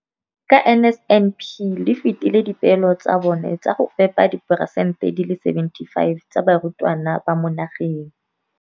Ka NSNP le fetile dipeelo tsa lona tsa go fepa masome a supa le botlhano a diperesente ya barutwana ba mo nageng.